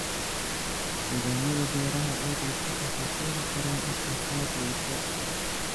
Nidaamyada beeraha oo liita waxay keeni karaan wax soo saar liita.